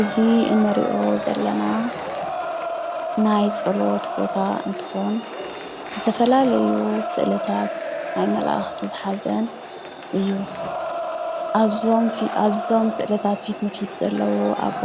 እዚ እንሪኦ ዘለና ናይ ፀሎት ቦታ እንትኾን ዝተፈላለዩ ስእልታት ናይ መላእኽትን ዝሓዘ እዩ። ኣብዞም ስእልታት ፊትንፊት ዘለው ኣቦ